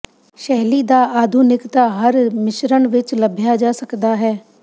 ਸ਼ੈਲੀ ਦਾ ਆਧੁਨਿਕਤਾ ਹਰ ਮਿਸ਼ਰਨ ਵਿਚ ਲੱਭਿਆ ਜਾ ਸਕਦਾ ਹੈ